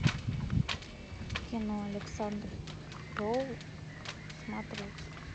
кино александр роу смотреть